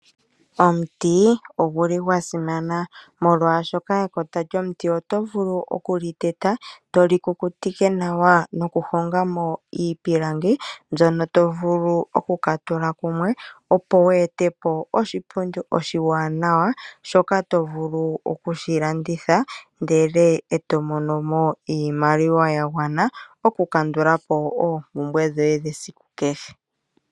Omuti oguli gwa simana. Molwaashoka ekota lyomuti oto vulu okuli teta eto li kukutike nawa nokuhonga mo iipilangi. Mbyono to vulu oku katula kumwe opo wu ete po oshipundi oshiwanawa. Shoka to vulu okushi landitha ndele eto mono mo iimaliwa ya gwana okukandula po oompumbwe dhoye dhesiku kehe.